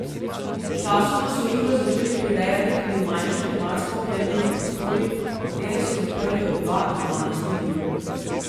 Sčasoma so igro začeli prirejati tudi v manjših tematsko opremljenih prostorih, v katere so zaprli od dva do dvanajst ljudi.